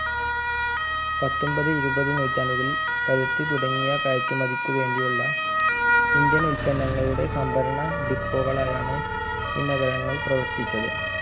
പത്തൊമ്പത് ഇരുപത് നൂറ്റാണ്ടുകളിൽ പരുത്തി തുടങ്ങിയ കയറ്റുമതിക്കു വേണ്ടിയുള്ള indian ഉൽപന്നങ്ങളുടെ സംഭരണ dippo കളയാണ് ഈ നഗരങ്ങൾ പ്രവർത്തിച്ചത്